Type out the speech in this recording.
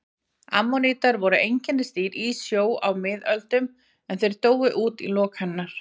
Ammonítar voru einkennisdýr í sjó á miðlífsöld en þeir dóu út í lok hennar.